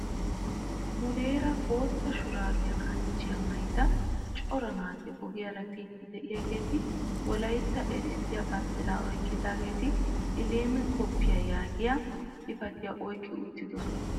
Muleera bootta shuraabe kanchchiyaa maayida cora naati ogiyaara biidi de'iyaageti wolaytta erissiyaa banddiraa oyqqidageti "elim cooffee" yaagiyaa xifatiyaa oyqqi uttidoosona.